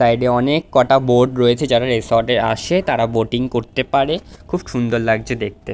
Side - এ অনেক কটা বোট রয়েছে। যারা রিসোর্ট - এ আসে তারা বোটিং করতে পারে। খুব সুন্দর লাগছে দেখতে।